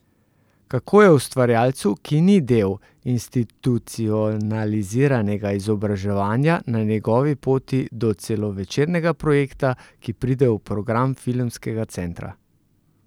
Kako je ustvarjalcu, ki ni del institucionaliziranega izobraževanja, na njegovi poti do celovečernega projekta, ki pride v program filmskega centra?